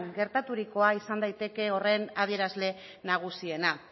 geraturikoa izan daiteke horren adierazle nagusiena